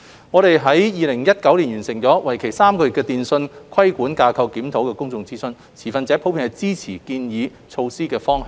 我們於2019年完成為期3個月的"電訊規管架構檢討"公眾諮詢，持份者普遍支持建議措施的方向。